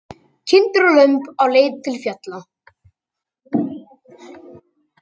Kindur og lömb á leið til fjalla.